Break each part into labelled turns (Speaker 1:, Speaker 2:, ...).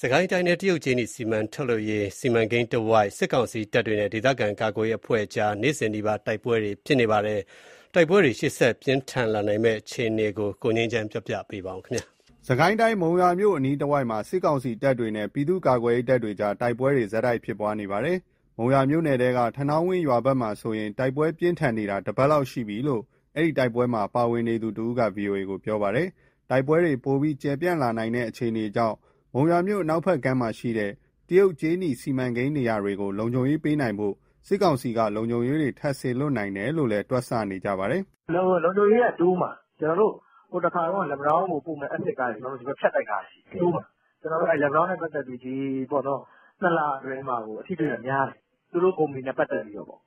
Speaker 1: စစ်ကိုင်းတိုင်းထဲက တရုတ်ကြေးနီထုတ်လုပ်ရေး စီမံကိန်းနေရာတဝိုက် စစ်ကောင်စီတပ်တွေနဲ့ ဒေသခံကာကွယ်ရေးအဖွဲ့ကြား နေ့စဉ်နီးပါး တိုက်ပွဲတွေဖြစ်နေပါတယ်။ တိုက်ပွဲတွေဟာ ရှေ့ဆက်ပြင်းထန်လာနိုင်တဲ့အခြေအနေကို ရန်ကုန်ကပေးပို့တဲ့သတင်းကို အခြေခံပြီး တင်ပြထားပါတယ်။ စစ်ကိုင်းတိုင်း၊ မုံရွာမြို့အနားတဝိုက်မှာ စစ်ကောင်စီတပ်တွေနဲ့ ပြည်သူ့ကာကွယ်ရေးတပ်တွေကြား တိုက်ပွဲတွေ ဆက်တိုက်ဖြစ်နေပါတယ်။ မုံရွာမြို့နယ်ထဲက ထနောင်းဝင်းရွာဘက်မှာဆို တိုက်ပွဲပြင်းထန်နေတာ တပတ်လောက်ရှိပြီလို့ ဒီတိုက်ပွဲမှာ ပါဝင်နေသူတဦးက VOA ကိုပြောပါတယ်။ တိုက်ပွဲတွေပိုပြီး ကျယ်ပြန့်လာနိုင်တဲ့ အခြေအနေကြောင့် မုံရွာမြို့ အနောက်ဘက်ကမ်းမှာရှိတဲ့ တရုတ်ကြေးနီစီမံကိန်းနေရာတွေကို လုံခြုံရေးပေးနိုင်ဖို့ စစ်ကောင်စီက လုံခြုံရေးတွေ ထပ်စေလွှတ်နိုင်တယ်လို့ တွက်နေကြပါတယ်။ "လုံခြုံရေးကတော့ တိုးမှာ၊
Speaker 2: ဟိုတခါတုန်းက လက်ပံတောင်းကိုပို့မဲ့ အက်ဆစ်ကားတွေ ကျနော်တို့ ဖြတ်တိုက်ထားတယ်၊ တိုးမှာ။ ကျနော်တို့ လက်ပံတောင်းနဲ့ ပက်သက်ပြီး နှစ်လအတွင်းမှာကို အထိအတွေ့ကများတယ်၊ သူတို့ကုမ္ပဏီနဲ့ ပတ်သက်ပြီးတော့ပေါ့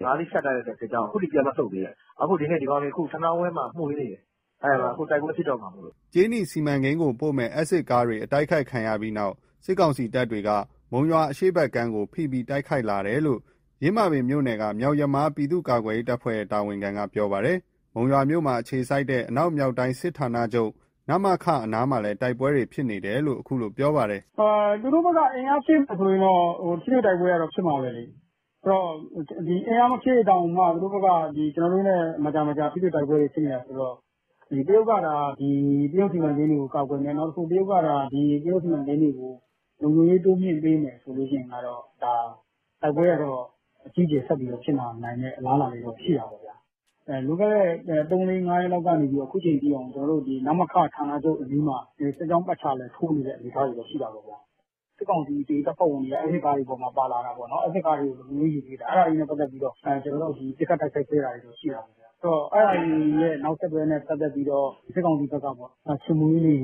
Speaker 2: ။ ငါးစီးကို ဖြတ်တိုက်လိုက်တဲ့ စစ်ကြောင်းက အခုထိ ပြန်မဆုတ်သေးတာ။ အခုဒီနေ့ သူတို့ ထနောင်းဝင်းမှာ မွှေနေတယ်။ အခုတိုက်ပွဲဖြစ်တော့မှာမို့။
Speaker 1: " ကြေးနီစီမံကိန်းဆီပို့မယ့် အက်ဆစ်ကားတွေ တိုက်ခိုက်ခံရပြီးနောက် စစ်ကောင်စီတပ်က မုံရွာအရှေ့ဘက်ကမ်းကို ဖိပြီး တိုက်ခိုက်လာတယ်လို့ ယင်းမာပင်မြို့က မြောက်ယမား ပြည်သူ့ကာကွယ်ရေးတပ်ဖွဲ့ရဲ့ တာဝန်ခံက ပြောပါတယ်။ မုံရွာမြို့မှာအခြေစိုက်တဲ့ အနောက်မြောက်တိုင်းစစ်ဌာနချုပ် အနားမှာလည်း တိုက်ပွဲတွေ ဖြစ်နေတယ်လို့ ခုလိုပြောပြပါတယ်
Speaker 2: ။ "သူတို့ဘက်က အင်အားဖြည့်မယ်ဆိုရင်တော့ ထိတွေ့တိုက်ပွဲကတော့ ဖြစ်မှာပဲ။ ဆိုတော့ အင်အားမဖြည့်တောင်မှ ကျနော်တို့နဲ့ မကြာမကြာ တိုက်ပွဲတွေ ဖြစ်နေတာဆိုတော့။ တရုတ်စီမံကိန်းတွေကို ကာကွယ်မယ်၊ တရုတ်စီမံကိန်းတွေကို လုံခြုံရေး တိုးမြှင့်ပေးမယ်ဆိုရင် တိုက်ပွဲက အကြီးအကျယ် ဆက်ပြီး ဖြစ်လာနိုင်တဲ့အလားအလာ ရှိတာပေါ့။ လွန်ခဲ့တဲ့ ၃-၄-၅ ရက်ကနေ အခုအချိန်အထိက နမခဌာနချုပ်အနီးမှာ စစ်ကြောင်းပတ်ချာလည် ထိုးနေတဲ့အနေအထားရှိတယ်။ စစ်ကောင်စီရဲ့ တပ်ဖွဲ့ဝင်တွေက အက်ဆစ်ကားတွေပေါ်မှာ ပါလာတာပေါ့နော်။ အဲဒါတွေနဲ့ ပတ်သက်ပြီး ကျနော်တို့ ပစ်ခတ် တိုက်ခိုက်ခဲ့တာရှိတယ်။ အဲဒါတွေရဲ့ နောက်ဆက်တွဲ စစ်ကောင်စီက ချေမှုန်းရေးတွေ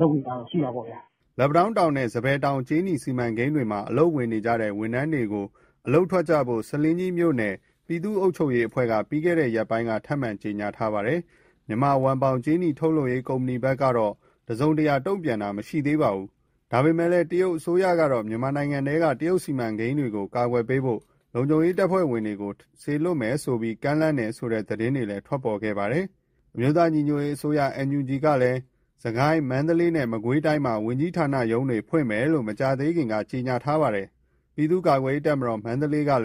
Speaker 2: လုပ်နေတာတော့ ရှိတယ်။
Speaker 1: " လက်ပံတောင်းနဲ့ စံပယ်တောင် ကြေးနီစီမံကိန်းတွေမှာ အလုပ်ဝင်နေတဲ့ ဝန်ထမ်းတွေကို အလုပ်ထွက်ကြဖို့ ဆားလင်းကြီးမြို့နယ် ပြည်သူ့ အုပ်ချုပ်ရေးအဖွဲ့က ပြီးခဲ့တဲ့ရက်ပိုင်းက ထပ်မံ ကြေညာထားပါတယ်။ Myanmar Wanbao ကြေးနီထုတ်လုပ်ရေး ကုမ္ပဏီဘက်ကတော့ တစုံတရာ တုံ့ပြန်ခြင်းမရှိသေးပါဘူး။ ဒါပေမဲ့ တရုတ်အစိုးရကတော့ မြန်မာနိုင်ငံထဲက တရုတ်စီမံကိန်းတွေကို ကာကွယ်ဖို့ လုံခြုံရေးတပ်ဖွဲ့ဝင်တွေကို စေလွှတ်မယ်ဆိုပြီး ကမ်းလှမ်းတယ်ဆိုတဲ့ သတင်းတွေထွက်ပေါ်ခဲ့ပါတယ်။ အမျိုးသားညီညွတ်ရေးအစိုးရ NUG ကလည်း စစ်ကိုင်း၊ မန္တလေးနဲ့ မကွေးတိုင်းမှာ ဝန်ကြီးဌာနရုံးတွေ ဖွင့်မယ်လို့ မကြာသေးခင်က ပြောထားပါတယ်။ ပြည်သူ့ကာကွယ်ရေးတပ်မတော် က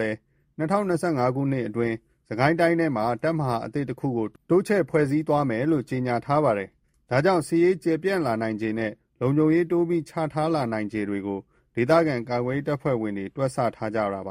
Speaker 1: လည်း ၂၀၂၅ ခုနှစ်အတွင်း စစ်ကိုင်းတိုင်းထဲမှာ တပ်မဟာအသစ်တခုကို တိုးချဲ့ဖွဲ့စည်းသွားမယ်လို့ ကြေညာထားပါတယ်။ ဒါကြောင့် စစ်ရေး ကျယ်ပြန့်လာနိုင်ခြေနေနဲ့ လုံခြုံရေးတိုးပြီး ချထားလာနိုင်ခြေတွေကို ဒေသခံ ကာကွယ်ရေးတပ်ဖွဲ့ဝင်တွေ တွက်ဆထားကြတာ ဖြစ်ပါ